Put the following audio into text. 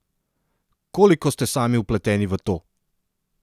Koliko ste sami vpleteni v to?